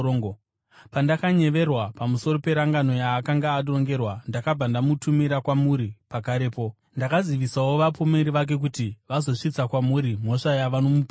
Pandakanyeverwa pamusoro perangano yaakanga arongerwa, ndakabva ndamutumira kwamuri pakarepo. Ndakazivisawo vapomeri vake kuti vazosvitsa kwamuri mhosva yavanomupomera.